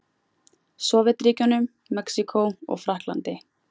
Sovétríkjunum, Mexíkó og Frakklandi.